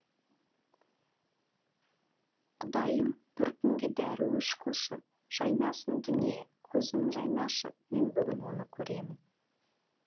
құдайым бір күнге дәруіш қылшы жайнасын дүние көзім жайнашы мен бүгін оны көремін